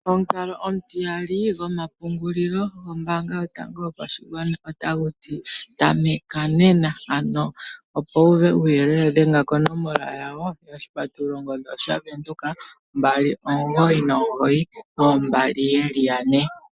Omukalo omutiyali go ma pu ngulilo gombaanga yo tango yo pashigwana, Ota guti ta meka nena. Ano opo wu uve uuyelele dhenga ko nomola yawo yongodhi :0612992222.